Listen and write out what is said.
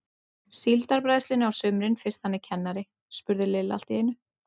Síldarbræðslunni á sumrin fyrst hann er kennari? spurði Lilla allt í einu.